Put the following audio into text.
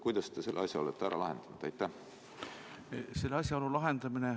Kuidas te selle asja olete ära lahendanud?